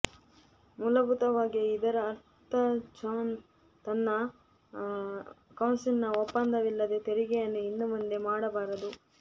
ಮೂಲಭೂತವಾಗಿ ಇದರ ಅರ್ಥ ಜಾನ್ ತನ್ನ ಕೌನ್ಸಿಲ್ನ ಒಪ್ಪಂದವಿಲ್ಲದೇ ತೆರಿಗೆಯನ್ನು ಇನ್ನು ಮುಂದೆ ಮಾಡಬಾರದು